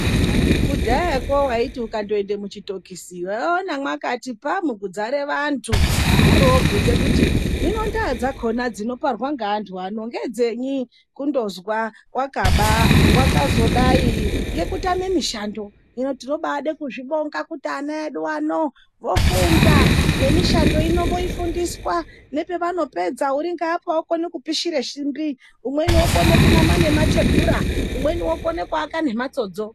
Kudhayakwo waiti ukatoenda muchitokisi, waiona mwakati phamu, kudzara vanthu. Woroobvunza kuti, hino ndaa dzakhona dzinoparwa ngeanthu ano ngedzenyi. Kundozwa wakaba, wakazodai ngekutame mishando. Hino tinobaada kuzvibonga ngekuti vana vedu vofunda nemishando ino voifundiswa. Nepevanopedza uri ngeapa okone kupishere simbi, umweni okone kunama nemathebhura, umweni okone nukuaka nemphatsodzo.